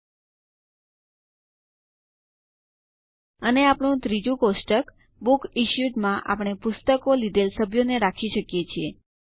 લ્ટપોઝેગ્ટ અને આપણું ત્રીજુ કોષ્ટક બુકસિશ્યુડ માં આપણે પુસ્તકો લીધેલ સભ્યો ને રાખી શકીએ છીએ